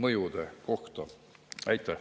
Aitäh!